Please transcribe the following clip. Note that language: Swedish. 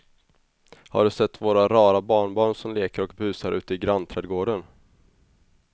Har du sett våra rara barnbarn som leker och busar ute i grannträdgården!